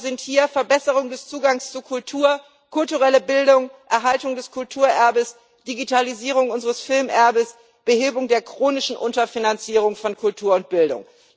Stichworte sind hier Verbesserung des Zugangs zu Kultur, kulturelle Bildung, Erhaltung des Kulturerbes, Digitalisierung unseres Filmerbes, Behebung der chronischen Unterfinanzierung von Kultur und Bildung.